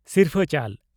ᱥᱤᱨᱯᱷᱟᱹ ᱪᱟᱞ